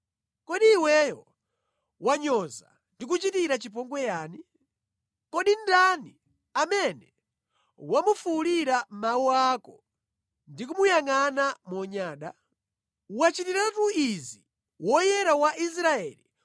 Kodi iweyo wanyoza ndi kuchitira chipongwe yani? Kodi ndani amene wamufuwulira mawu ako ndi kumuyangʼana monyada? Wachitiratu izi Woyera wa Israeli!